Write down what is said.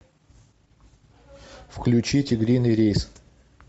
включи тигриный рейс